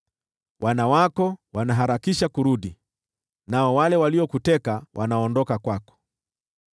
Wana wako wanaharakisha kurudi, nao wale waliokuteka wanaondoka kwako.